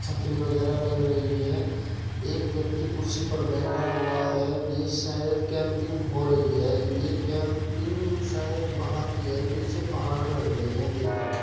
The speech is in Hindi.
छतरी वगेरा लग रही है एक व्यक्ति कुर्सी पर बैठा हुआ है ये शायद केमपिंग हो रही है ये केमपिंग शायद बाहर की है। पीछे पहाड़ लग रहे है देखने मे --